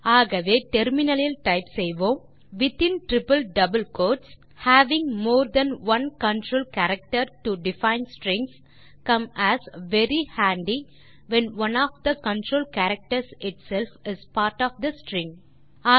ஆகவே நாம் டெர்மினல் லில் டைப் செய்யலாம் within triple double quotes having more than one control character to define strings come as very handy when one of the control characters itself is part of the string